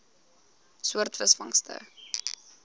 soort visvangste